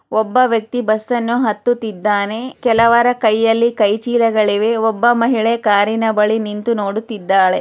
ಒಬ್ಬ ವ್ಯಕ್ತಿ ಬಸ್ ಅನ್ನು ಹತ್ತುತಿದ್ದಾನೆ ಕೆಲವರ ಕೈ ಯಲ್ಲಿ ಕೈಚೀಲಗಳು ಇವೆ ಒಬ್ಬ ಮಹಿಳೆ ಕಾರಿನ ಬಳಿ ನಿಂತಿ ನೋಡುತಿದ್ದಾಳೆ